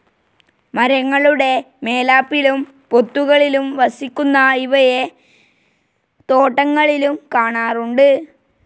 മരങ്ങളുടെ മേലാപ്പിലും പൊത്തുകളിലും വസിക്കുന്ന ഇവയെ തോട്ടങ്ങളിലും കാണാറുണ്ട്.